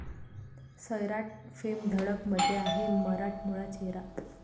सैराट'फेम 'धडक'मध्ये आहे मराठमोळा चेहरा!